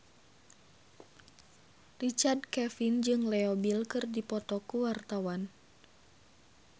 Richard Kevin jeung Leo Bill keur dipoto ku wartawan